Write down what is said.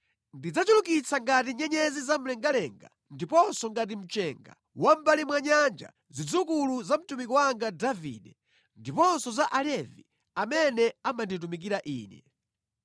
Ndidzachulukitsa ngati nyenyezi zamlengalenga ndiponso ngati mchenga wa mʼmbali mwa nyanja zidzukulu za mtumiki wanga Davide ndiponso za Alevi amene amanditumikira Ine.